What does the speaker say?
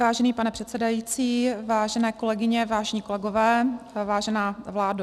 Vážený pane předsedající, vážené kolegyně, vážení kolegové, vážená vládo.